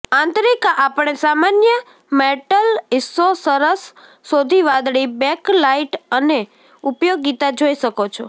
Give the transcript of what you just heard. આંતરિક આપણે સામાન્ય મેટલ હિસ્સો સરસ શોધી વાદળી બેકલાઇટ અને ઉપયોગીતા જોઈ શકો છો